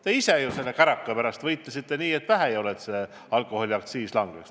Te ise ju käraka pärast võitlesite nii, et vähe polnud – et alkoholiaktsiis ikka langeks.